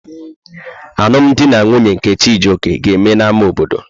Alụm di na nwunye nke Chijioke aga-eme n'ámá obodo?